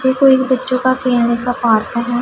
ये कोई बच्चों का खेलने का पार्क है।